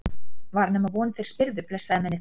Var nema von þeir spyrðu, blessaðir mennirnir!